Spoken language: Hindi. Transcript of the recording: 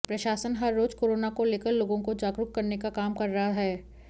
प्रशासन हर रोज कोरोना को लेकर लोगों को जागरुक करने का काम कर रहा है